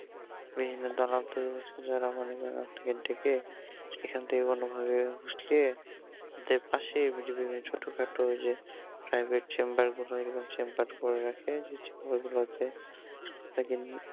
বিভিন্ন দালাল তৈরি হচ্ছে যারা মনে করেন ডেকে এখান থেকে কোনো ভাবে পাশে বিভিন্ন ছোট খাটো ওই যে privet chamber গুলো এই chamber করে রাখে যে chamber গুলো হচ্ছে